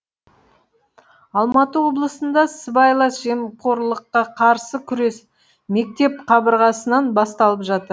алматы облысында сыбайлас жемқорлыққа қарсы күрес мектеп қабырғасынан басталып жатыр